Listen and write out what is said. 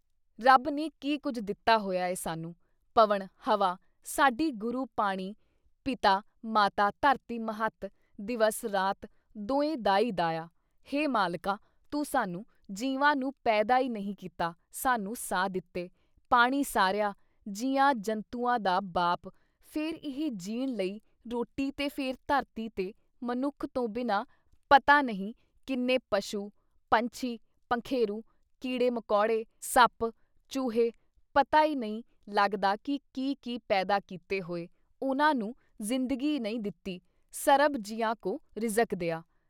ਰੱਬ ਨੇ ਕੀ ਕੁਛ ਦਿੱਤਾ ਹੋਇਆ ਹੈ ਸਾਨੂੰ ? ਪਵਣ (ਹਵਾ) ਸਾਡੀ ਗੁਰੂ ਪਾਣੀ ਪਿਤਾ ਮਾਤਾ ਧਰਤਿ ਮਹੱਤ ਦਿਵਸ ਰਾਤ ਦੋਏ ਦਾਈ ਦਾਇਆ। ਹੇ ਮਾਲਿਕਾ! ਤੂੰ ਸਾਨੂੰ ਜੀਵਾਂ ਨੂੰ ਪੈਦਾ ਈ ਨਹੀਂ ਕੀਤਾ ਸਾਨੂੰ ਸਾਹ ਦਿੱਤੇ, ਪਾਣੀ ਸਾਰਿਆਂ ਜੀਆਂ ਜੰਤੂਆਂ ਦਾ ਬਾਪ, ਫਿਰ ਇਹ ਜੀਣ ਲਈ ਰੋਟੀ ਤੇ ਫਿਰ ਧਰਤੀ ਤੇ ਮਨੁੱਖ ਤੋਂ ਬਿਨਾਂ ਪਤਾ ਨਹੀਂ ਕਿੰਨੇ ਪਸ਼ੂ, ਪੰਛੀ-ਪੰਖੇਰੂ, ਕੀੜੇ ਮਕੌੜੇ, ਸੱਪ, ਚੂਹੇ ਪਤਾ ਈ ਨਹੀਂ ਲੱਗਦਾ ਕੀ ਕੀ ਪੈਦਾ ਕੀਤੇ ਹੋਏ, ਉਹਨਾਂ ਨੂੰ ਜ਼ਿੰਦਗੀ ਈ ਨਹੀਂ ਦਿੱਤੀ, ਸਰਬ ਜੀਆਂ ਕੋ ਰਿਜ਼ਕ ਦੀਆ।